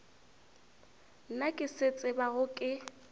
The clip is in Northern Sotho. nna ke se tsebago ke